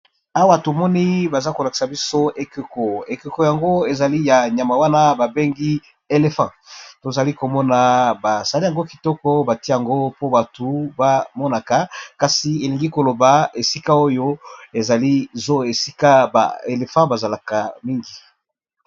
Awa tomoni baza kolakisa biso ekeko. Ekeko yango ezali ya nyama wana babengi elefant tozali komona basali yango kitoko bati yango po batu bamonaka kasi elingi koloba esika oyo ezali zo esika ba elefant bazalaka mingi.